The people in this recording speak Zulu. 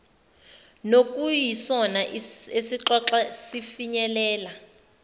nokuyisona esixoxa sifinyelele